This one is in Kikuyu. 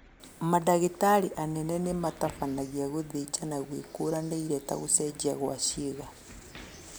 Mandagĩtari anene nĩmatabanagia gũthĩnjana gwĩkũranĩire ta gũcenjia gwa ciĩga